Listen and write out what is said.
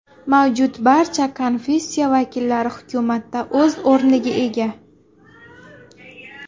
Mavjud barcha konfessiya vakillari hukumatda o‘z o‘rniga ega.